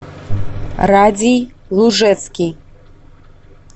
радий лужецкий